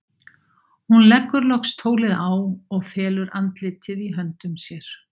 Hún leggur loks tólið á og felur andlitið í höndum sér.